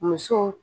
Muso